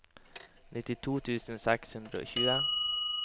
nittito tusen seks hundre og tjue